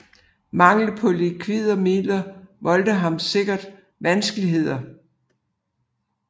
Mangel på likvide midler voldte ham sikkert vanskeligheder